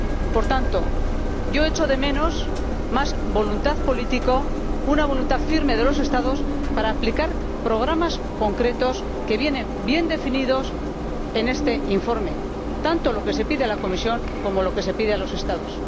Por tanto, yo echo de menos más voluntad política, una voluntad firme de los Estados para aplicar programas concretos que están bien definidos en este informe, tanto lo que se pide a la Comisión como lo que se pide a los Estados.